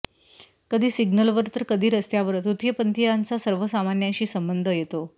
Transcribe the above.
कधी सिग्नलवर तर कधी रस्त्यावर तृतीयपंथीयांचा सर्वसामान्यांशी संबंध येतो